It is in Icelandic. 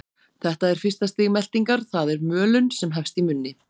Þetta er fyrsta stig meltingar, það er mölun, sem hefst í munni.